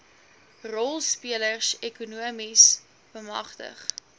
rolspelers ekonomies bemagtig